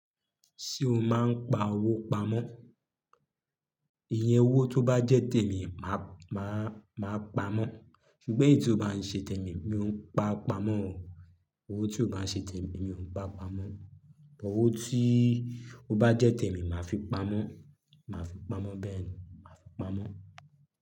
Ṣé o máa ń pa owó pamọ́? Ìyẹn owó tó bá jẹ́ tèmi, màá, màá, màá pamọ́. Ṣùgbọ́n èyí tí ó bá ń ṣe tèmi, mi ò pa pamọ́. Owó tí ó bá ń ṣe tèmi, mi ò ń pa pamọ́. Ọwọ́ tí ó bá jẹ́ tèmi, màá fi pamọ́, màá fi pamọ́ bẹ́ẹ̀ ni, màá fi pamọ́.